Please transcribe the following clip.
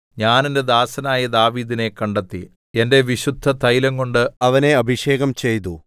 ഞാൻ എന്റെ ദാസനായ ദാവീദിനെ കണ്ടെത്തി എന്റെ വിശുദ്ധതൈലംകൊണ്ട് അവനെ അഭിഷേകം ചെയ്തു